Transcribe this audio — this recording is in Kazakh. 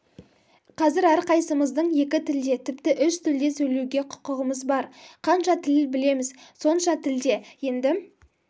қазір әрқайсымыздың екі тілде тіпті үш тілде сөйлеуге құқығымыз бар қанша тіл білеміз сонша тілде енді